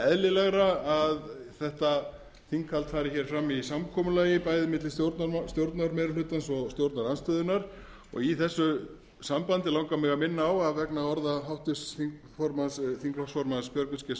eðlilegra að þetta þinghald fari fram í samkomulagi bæði milli stjórnarmeirihlutans og stjórnarandstöðunnar í þessu sambandi langar mig að minna á að vegna orða háttvirts þingflokksformanns björgvins g